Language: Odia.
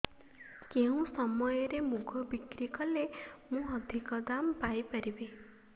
କେଉଁ ସମୟରେ ମୁଗ ବିକ୍ରି କଲେ ମୁଁ ଅଧିକ ଦାମ୍ ପାଇ ପାରିବି